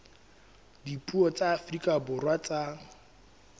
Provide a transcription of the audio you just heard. dipuo tsa afrika borwa tsa